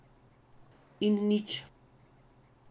In nič.